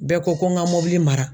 Bɛɛ ko ko ŋa mɔbili mara